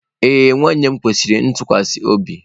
Ee nwanne m kwesiri ntụkwasị obi.